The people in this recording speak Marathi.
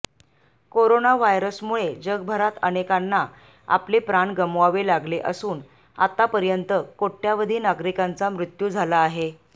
कोरोना व्हायरसमुळे जगभरात अनेकांना आपले प्राण गमवावे लागले असून आतापर्यंत कोट्यवधी नागरिकांचा मृत्यू झाला आहे